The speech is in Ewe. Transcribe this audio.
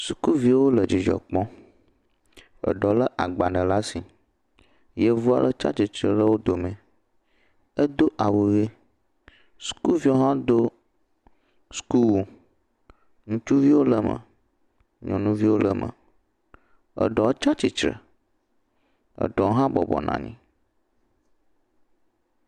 Sukuviwo le dzidzɔ kpɔm. Eɖewo lé agbalẽ laa si. Yevu aɖe tsa tsitre le wo dome. Edo awu ʋe. Sukuviawo hã do sukuwo. Ŋutsuviwo le eme, nyɔnuviwo le eme. Eɖewo tsa tsitre. Eɖewo hã bɔbɔ nɔ anyi.